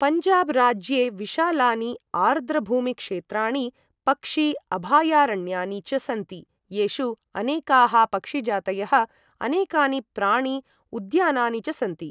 पञ्जाब् राज्ये विशालानि आर्द्रभूमिक्षेत्राणि, पक्षि अभायारण्यानि च सन्ति, येषु अनेकाः पक्षिजातयः, अनेकानि प्राणि उद्यानानि च सन्ति।